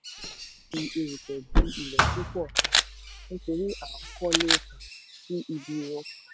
a sáábà fi erùpẹ̀ dí ilẹ̀ púpọ̀ um nítorí à ń kọ́lé um sí ibi rọ̀.